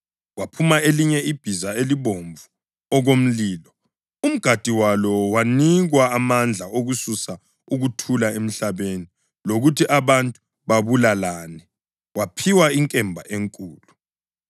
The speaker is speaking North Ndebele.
Kwaphuma elinye ibhiza; libomvu okomlilo. Umgadi walo wanikwa amandla okususa ukuthula emhlabeni lokuthi abantu babulalane. Waphiwa inkemba enkulu.